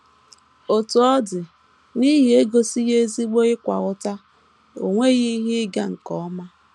Otú ọ dị, n’ihi egosighị ezigbo ịkwa ụta, o nweghị ihe ịga nke ọma.